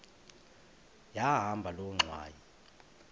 yahamba loo ngxwayi